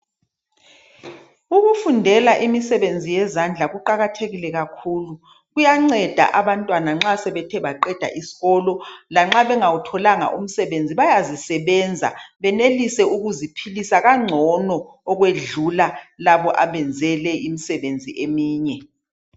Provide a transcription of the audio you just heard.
Ukufundela imisebenzi yezandla kuqakathekile kakhulu kuyanceda abantwana nxa sebethe baqeda isikolo lanxa bengawutholanga umsebenzi bayazisebenza benelise ukuziphilisa kangcono ukwedlula labo abenze imisebenzi eyinye.